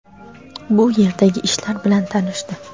bu yerdagi ishlar bilan tanishdi.